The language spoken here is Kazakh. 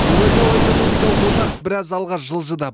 еуразиялық экономикалық одақ біраз алға жылжыды